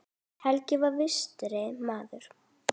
Helgi var vinstri maður.